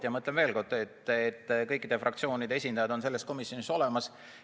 Ja ma ütlen veel kord, et kõikide fraktsioonide esindajad on selles komisjonis olemas.